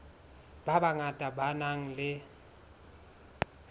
ba bangata ba nang le